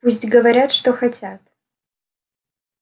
пусть говорят что хотят